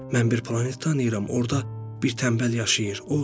Mən bir planet tanıyıram, orda bir tənbəl yaşayır.